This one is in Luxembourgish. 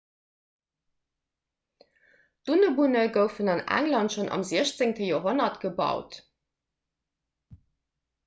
dunnebunne goufen an england schonn am 16 joerhonnert gebaut